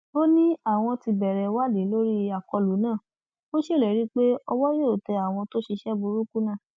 ó ní àwọn ti bẹrẹ ìwádì lórí àkọlù náà ó ṣèlérí pé owó yóò tẹ àwọn tó ṣiṣẹ burúkú náà